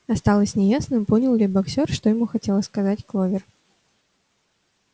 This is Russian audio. осталось неясным понял ли боксёр что ему хотела сказать кловер